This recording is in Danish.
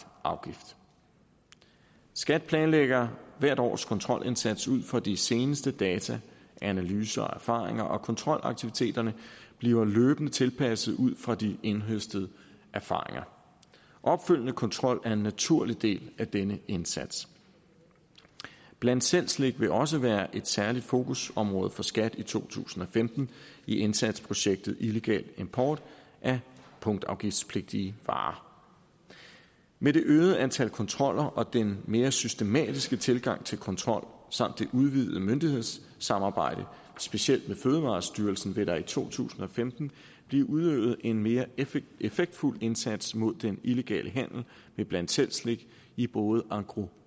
afgift skat planlægger hvert års kontrolindsats ud fra de seneste data analyser og erfaringer og kontrolaktiviteterne bliver løbende tilpasset ud fra de indhøstede erfaringer opfølgende kontrol er en naturlig del af denne indsats bland selv slik vil også være et særligt fokusområde for skat i to tusind og femten i indsatsprojektet illegal import af punktafgiftspligtige varer med det øgede antal kontroller og den mere systematiske tilgang til kontrol samt det udvidede myndighedssamarbejde specielt med fødevarestyrelsen vil der i to tusind og femten blive udøvet en mere effektfuld indsats mod den illegale handel med bland selv slik i både engros